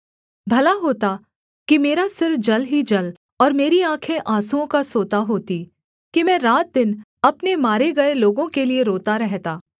भला होता कि मेरा सिर जल ही जल और मेरी आँखें आँसुओं का सोता होतीं कि मैं रात दिन अपने मारे गए लोगों के लिये रोता रहता